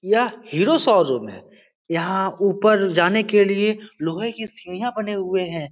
यह हीरो शोरूम है यहां ऊपर जाने के लिए लोहे के सीढ़ियां बने हुए हैं।